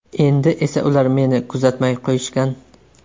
Endi esa ular meni kuzatmay qo‘yishgan”.